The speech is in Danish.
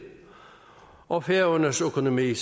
og færøernes økonomi